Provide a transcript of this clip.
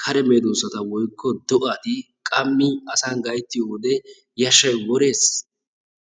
kare medoosssata woykko do'ati qammi asan gayttiyo wode yashshayi wores.